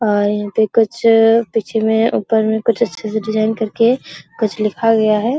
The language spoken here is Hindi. और यहां पे कुछ पीछे में ऊपर में अच्छे से डिजाइन करके कुछ लिखा गया है।